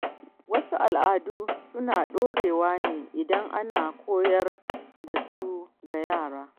Wasu al’adu suna ɗorewa ne idan ana koyar da su ga yara.